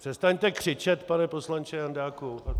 Přestaňte křičet, pane poslanče Jandáku...